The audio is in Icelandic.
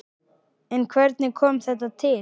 En hvernig kom þetta til?